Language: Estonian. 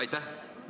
Aitäh!